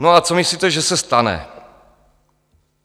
No a co myslíte, že se stane?